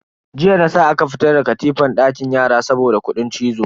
Jiya na sa aka fitar da katifan dakin yara saboda kudin cizo.